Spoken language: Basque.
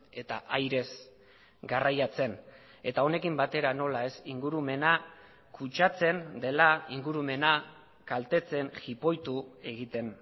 eta airez garraiatzen eta honekin batera nola ez ingurumena kutsatzen dela ingurumena kaltetzen jipoitu egiten